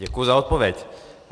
Děkuji za odpověď.